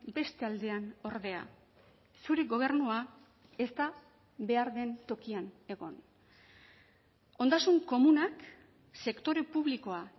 beste aldean ordea zure gobernua ez da behar den tokian egon ondasun komunak sektore publikoa